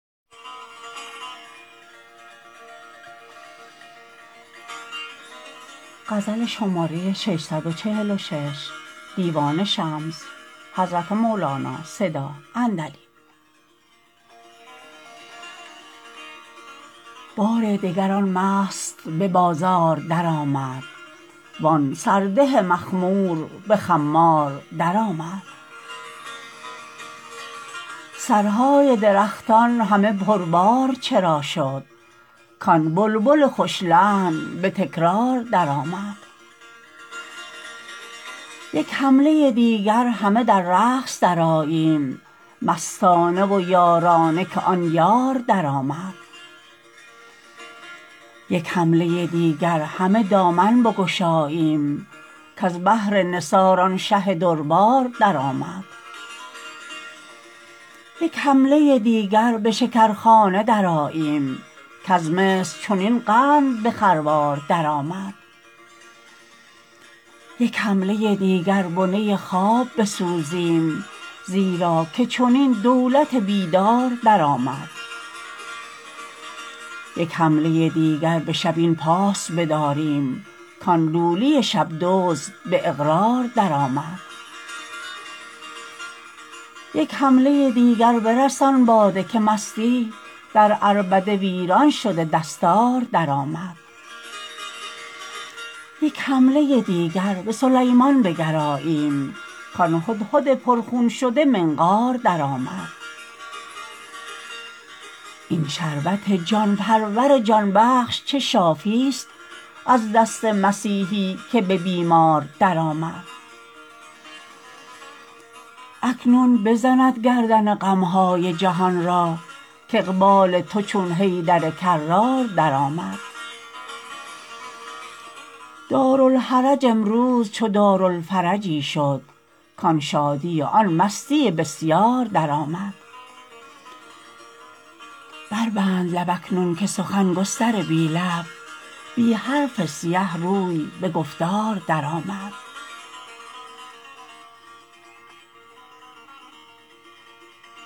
بار دگر آن مست به بازار درآمد وان سرده مخمور به خمار درآمد سرهای درختان همه پربار چرا شد کان بلبل خوش لحن به تکرار درآمد یک حمله دیگر همه در رقص درآییم مستانه و یارانه که آن یار درآمد یک حمله دیگر همه دامن بگشاییم کز بهر نثار آن شه دربار درآمد یک حمله دیگر به شکرخانه درآییم کز مصر چنین قند به خروار درآمد یک حمله دیگر بنه خواب بسوزیم زیرا که چنین دولت بیدار درآمد یک حمله دیگر به شب این پاس بداریم کان لولی شب دزد به اقرار درآمد یک حمله دیگر برسان باده که مستی در عربده ویران شده دستار درآمد یک حمله دیگر به سلیمان بگراییم کان هدهد پرخون شده منقار درآمد این شربت جان پرور جان بخش چه ساقیست از دست مسیحی که به بیمار درآمد اکنون بزند گردن غم های جهان را کاقبال تو چون حیدر کرار درآمد دارالحرج امروز چو دارالفرجی شد کان شادی و آن مستی بسیار درآمد بربند لب اکنون که سخن گستر بی لب بی حرف سیه روی به گفتار درآمد